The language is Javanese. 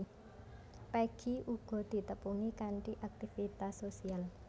Peggy uga ditepungi kanthi aktivitas sosial